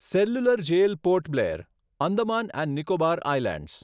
cellular jail Port Blair, Andaman and Nicobar islands